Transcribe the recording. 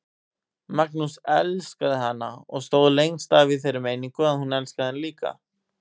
Magnús elskaði hana og stóð lengst af í þeirri meiningu að hún elskaði hann líka.